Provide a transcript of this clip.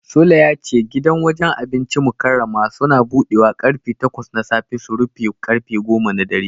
Sule ya ce gidan wajen abincin Mukarramah Suns budewa karfe takwas na safe su rufe karfe goma na dare.